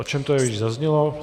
O čem to je, již zaznělo.